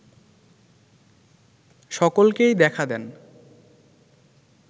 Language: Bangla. সকলকেই দেখা দেন